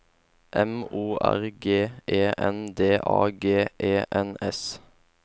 M O R G E N D A G E N S